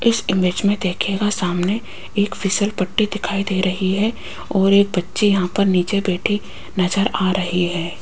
इस इमेज में देखिएगा सामने एक फिसल पट्टी दिखाई दे रही है और एक बच्ची यहां पर नीचे बैठी नजर आ रही है।